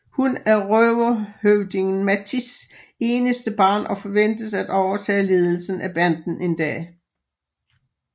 Hun er røverhøvdingen Mattis eneste barn og forventes at overtage ledelsen af banden en dag